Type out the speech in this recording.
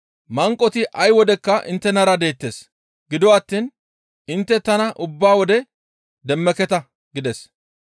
Manqoti ay wodekka inttenara deettes. Gido attiin intte tana ubba wode demmeketa» gides.